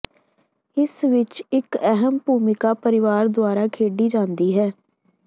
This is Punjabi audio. ਇਸ ਵਿੱਚ ਇੱਕ ਅਹਿਮ ਭੂਮਿਕਾ ਪਰਿਵਾਰ ਦੁਆਰਾ ਖੇਡੀ ਜਾਂਦੀ ਹੈ